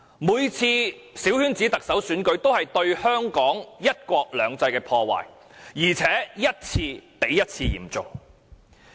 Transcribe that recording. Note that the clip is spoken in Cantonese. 每次小圈子特首選舉都對香港的"一國兩制"造成破壞，而且一次比一次嚴重。